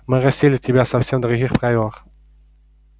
мы растили тебя совсем в других правилах